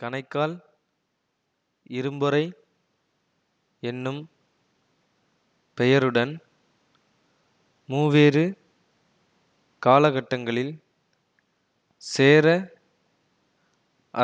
கணைக்கால் இரும்பொறை என்னும் பெயருடன் மூவேறு காலக்கட்டங்களில் சேர